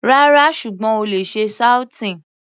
Rárá, ṣùgbọ́n o lè ṣe sauteing.